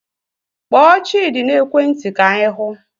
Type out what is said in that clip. Kpọọ Chidi n'ekwe nti ka anyi hụ